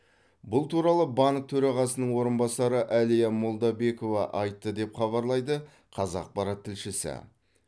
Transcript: бұл туралы банк төрағасының орынбасары әлия молдабекова айтты деп хабарлайды қазақпарат тілшісі